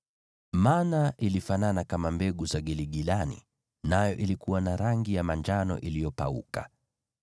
Mana ilifanana kama mbegu za giligilani, nayo ilikuwa na rangi ya manjano iliyopauka.